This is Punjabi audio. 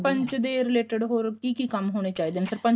ਸਰਪੰਚ ਦੇ related ਹੋਰ ਕੀ ਕੀ ਕੰਮ ਹੋਣੇ ਚਾਹੀਦੇ ਹੈ ਸਰਪੰਚ